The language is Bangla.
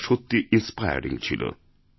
তাসত্যিই ইন্সপায়ারিং ছিল